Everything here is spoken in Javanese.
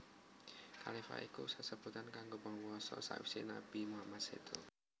Khalifah iku sesebutan kanggo panguwasa sawisé Nabi Muhammad séda